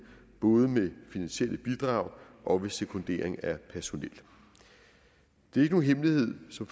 både med finansielle bidrag og ved sekundering af personel det er ikke nogen hemmelighed som